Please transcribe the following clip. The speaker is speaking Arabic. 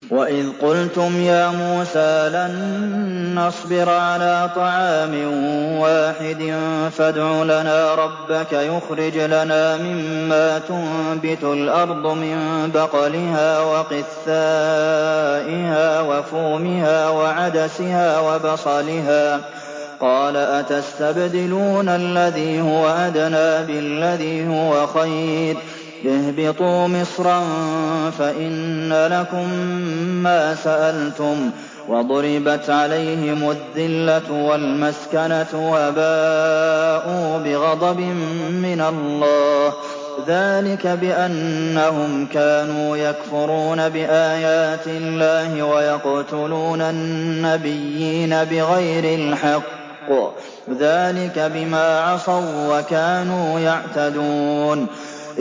وَإِذْ قُلْتُمْ يَا مُوسَىٰ لَن نَّصْبِرَ عَلَىٰ طَعَامٍ وَاحِدٍ فَادْعُ لَنَا رَبَّكَ يُخْرِجْ لَنَا مِمَّا تُنبِتُ الْأَرْضُ مِن بَقْلِهَا وَقِثَّائِهَا وَفُومِهَا وَعَدَسِهَا وَبَصَلِهَا ۖ قَالَ أَتَسْتَبْدِلُونَ الَّذِي هُوَ أَدْنَىٰ بِالَّذِي هُوَ خَيْرٌ ۚ اهْبِطُوا مِصْرًا فَإِنَّ لَكُم مَّا سَأَلْتُمْ ۗ وَضُرِبَتْ عَلَيْهِمُ الذِّلَّةُ وَالْمَسْكَنَةُ وَبَاءُوا بِغَضَبٍ مِّنَ اللَّهِ ۗ ذَٰلِكَ بِأَنَّهُمْ كَانُوا يَكْفُرُونَ بِآيَاتِ اللَّهِ وَيَقْتُلُونَ النَّبِيِّينَ بِغَيْرِ الْحَقِّ ۗ ذَٰلِكَ بِمَا عَصَوا وَّكَانُوا يَعْتَدُونَ